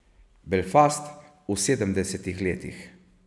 Belfast v sedemdesetih letih.